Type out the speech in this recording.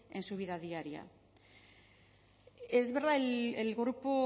en su vida diaria es verdad el grupo